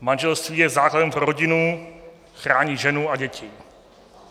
Manželství je základem pro rodinu, chrání ženu a děti.